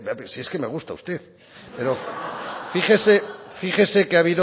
pero si es que me gusta usted pero fíjese que